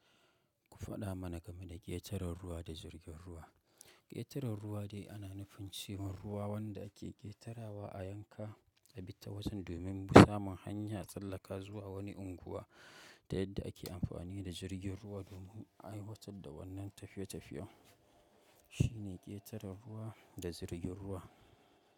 Ku faɗa mana game da ƙetaren ruwa da jirgin ruwa. Ƙetaren ruwa dai ana nufin cewa ruwa wanda ake ƙetarawa a yanka a bi ta wajen domin samun hanya tsallaka zuwa wani unguwa da yadda ake amfani da jirgin ruwa domin aiwatar da wannan tafiye-tafiyen. Shi ne ƙetaren ruwa da jirgin ruwa.